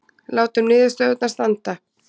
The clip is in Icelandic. Látum niðurstöðurnar standa